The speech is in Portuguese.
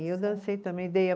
E eu dancei também, dei a